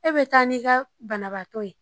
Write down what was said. E bɛ taa n'i ka banabaatɔ ye